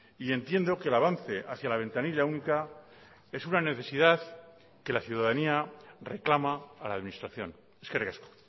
y entiendo que el avance hacia la ventanilla única es una necesidad que la ciudadanía reclama a la administración eskerrik asko